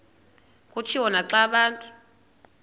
kutshiwo naxa abantu